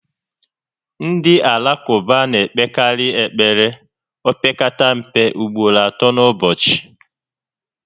Ndị Alakụba na-ekpekarị ekpere opekata mpe ugboro atọ n'ụbọchị